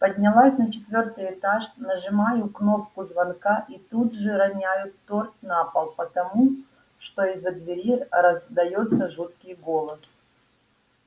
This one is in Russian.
поднялась на четвёртый этаж нажимаю кнопку звонка и тут же роняю торт на пол потому что из-за двери раздаётся жуткий голос